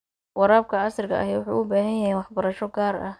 Waraabka casriga ahi wuxuu u baahan yahay waxbarasho gaar ah.